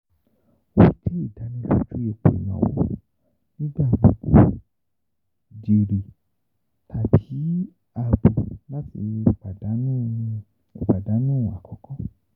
O jẹ idaniloju ipo inawo, nigbagbogbo jèrè tabi aabo lati ipadanu ipadanu akọkọ.